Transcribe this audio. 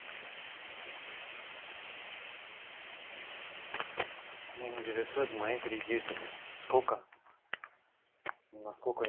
интересуют мои кредиты сколько на сколько я